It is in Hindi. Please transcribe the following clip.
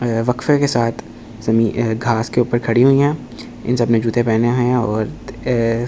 बक्से के साथ शमी घास के ऊपर खड़ी हुई है इन सबने जूते पहने हैं और --